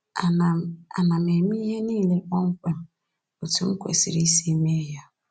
Ana m Ana m eme ihe nile kpọmkwem etu m kwesịrị isi mee ya?'